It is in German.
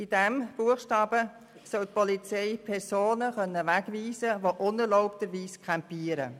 Mit diesem Buchstaben soll die Polizei Personen wegweisen können, die unerlaubterweise campieren.